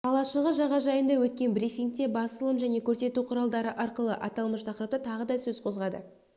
қалашығы жағажайында өткен брифингте басылым және көрсету құралдары арқылы аталмыш тақырыпта тағы да сөз қозғады